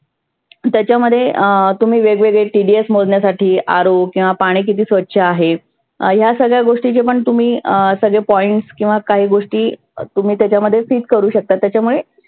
त्याच्यामध्ये अं तुम्ही वेग वेगळे TDS मोजण्यासाठी RO किंवा पाणि किती स्वच्छ आहे. ह्या सगळ्या गोष्टीने पण तुम्ही अं सगळे points किंवा काही गोष्टी तुम्ही त्याच्यामध्ये fit करु शकता. त्याच्यामुळे